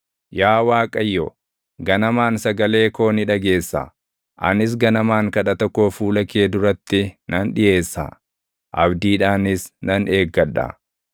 Yaa Waaqayyo, ganamaan sagalee koo ni dhageessa; anis ganamaan kadhata koo fuula kee duratti nan dhiʼeessa; abdiidhaanis nan eeggadha.